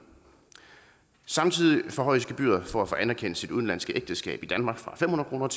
samtidig forhøjes gebyret for at få anerkendt sit udenlandske ægteskab i danmark fra fem hundrede